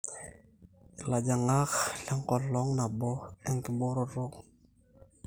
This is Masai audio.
ilajang'ak lenkolong nabo enkibooroto